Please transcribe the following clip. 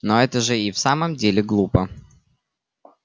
но это же и в самом деле глупо